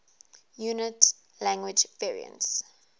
inuit language variants